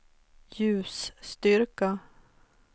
ljusstyrka